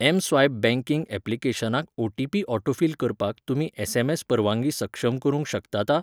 M swipe banking ऍप्लिकेशनाक O T P autofill करपाक तुमी एस. एम. एस. परवांगी सक्षम करूंक शकतात?